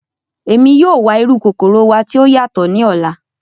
Emi yoo wa iru kokoro wa ti o yatọ ni ọla.